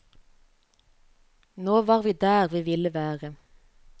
Nå var vi der vi ville være.